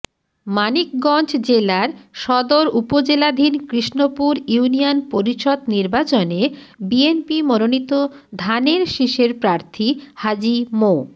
মানিকগঞ্জ জেলার সদর উপজেলাধীন কৃষ্ণপুর ইউনিয়ন পরিষদ নির্বাচনে বিএনপি মনোনীত ধানের শীষের প্রার্থী হাজী মো